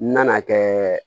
N nana kɛ